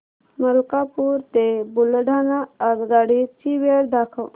मलकापूर ते बुलढाणा आगगाडी ची वेळ दाखव